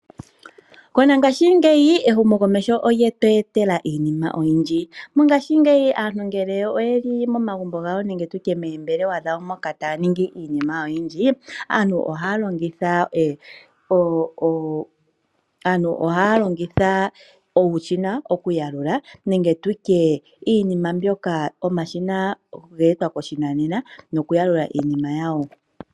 Mongashingeyi ehumokomeho olye tu etela iinima oyindji. Mongashingeyi aantu ngele oye li momagumbo gawo nenge moombelewa moka taya ningi iinima oyindji, aantu ohaya longitha uushina okuyalula nenge tu tye omashina ngoka ge etwa koshinanena gokuyalula iinima yawo.